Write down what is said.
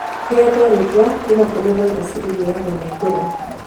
Ìhetwo rĩtwa kuma kũrĩ vairaci ĩgĩagwo nĩ ngũrwe.